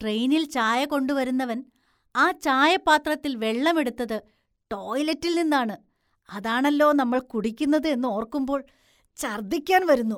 ട്രെയിനില്‍ ചായ കൊണ്ടുവരുന്നവന്‍ ആ ചായപാത്രത്തില്‍ വെള്ളം എടുത്തത് ടോയ്‌ലെറ്റില്‍ നിന്നാണ്, അതാണല്ലോ നമ്മള്‍ കുടിക്കുന്നത് എന്നോര്‍ക്കുമ്പോള്‍ ഛര്‍ദ്ദിക്കാന്‍ വരുന്നു.